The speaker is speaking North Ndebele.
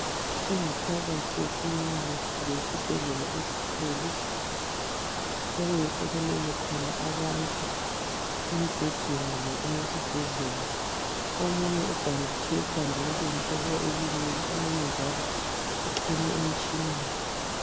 Ingaphakathi yekilinika kumbe isibhedlela esikhulu okuyikho okulelele khona abantu embhedeni le esesibhedlela omunye ubhanditshwe ikhanda okutshengisa ukuthi ulimele omunye njalo uxhunywe emitshineni